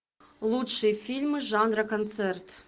лучшие фильмы жанра концерт